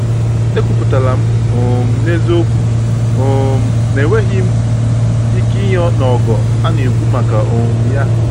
Ekwuputara m um n’eziokwu um na enweghị m ike inye n’ogo a n'ekwu maka um ya.